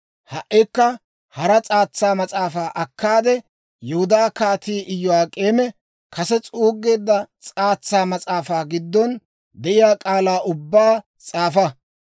«Ha"ikka hara s'aatsa mas'aafaa akkaade, Yihudaa Kaatii Iyo'ak'eemi kase s'uuggeedda s'aatsa mas'aafaa giddon de'iyaa k'aalaa ubbaa s'aafa.